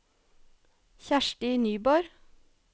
Kjersti Nyborg